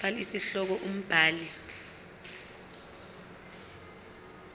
fal isihloko umbhali